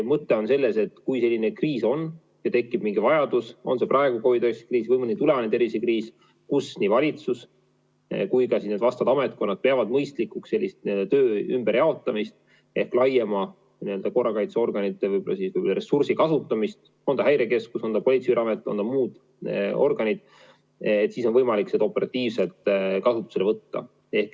Mõte on selles, et kui on selline kriis ja tekib mingi vajadus, on see praegu COVID-19 kriis või mõni tulevane tervisekriis, kus nii valitsus kui vastavad ametkonnad peavad mõistlikuks töö ümberjaotamist ehk laiemat korrakaitseorganite – on ta Häirekeskus, on ta Politsei- ja Piirivalveamet, on ta muu organ – ressursi kasutamist, siis on võimalik seda operatiivselt kasutusele võtta.